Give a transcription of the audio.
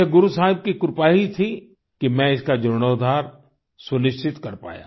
यह गुरु साहिब की कृपा ही थी कि मैं इसका जीर्णोद्धार सुनिश्चित कर पाया